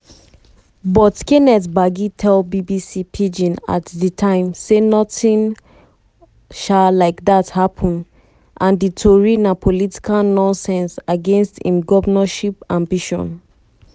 um kenneth gbagi tell bbc pidgin at di time say notin um like dat happun and happun and di tori na political nonsense against im govnorship ambition.